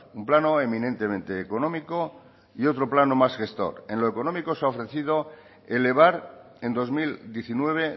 un plano eminentemente económico y otro plano más gestor en lo económico se ha ofrecido elevar en dos mil diecinueve